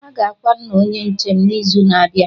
Aga akwa nna Onye nche m n'izu na-abịa